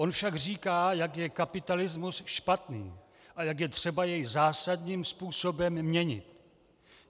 On však říká, jak je kapitalismus špatný a jak je třeba jej zásadním způsobem měnit.